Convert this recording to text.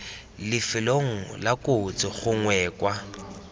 lifelong la kotsi gongwe kwa